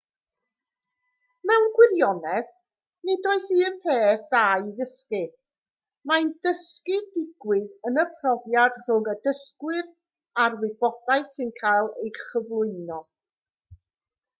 mewn gwirionedd nid oes un peth da i'w ddysgu mae dysgu'n digwydd yn y profiad rhwng y dysgwr a'r wybodaeth sy'n cael ei chyflwyno